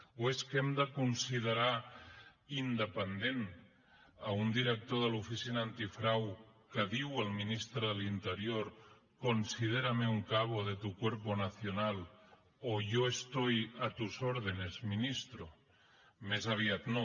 o és que hem de considerar independent un director de l’oficina antifrau que diu al ministre de l’interior considérame un cabo de tu cuerpo nacional o yo estoy a tus órdenes ministro més aviat no